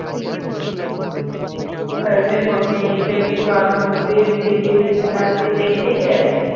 movie TV